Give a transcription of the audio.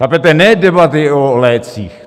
Chápete, ne debaty o lécích.